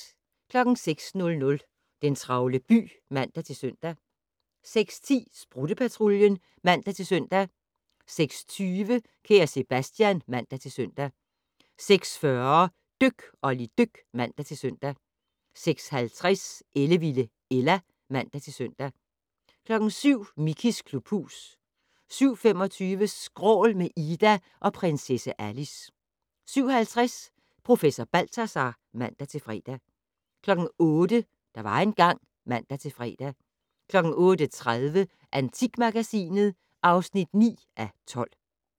06:00: Den travle by (man-søn) 06:10: Sprutte-Patruljen (man-søn) 06:20: Kære Sebastian (man-søn) 06:40: Dyk Olli dyk (man-søn) 06:50: Ellevilde Ella (man-søn) 07:00: Mickeys klubhus 07:25: Skrål - med Ida og Prinsesse Alice 07:50: Professor Balthazar (man-fre) 08:00: Der var engang ... (man-fre) 08:30: Antikmagasinet (9:12)